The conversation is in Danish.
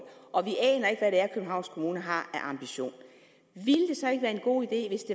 københavns kommune har af ambitioner ville det så ikke være en god idé hvis